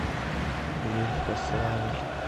лихославль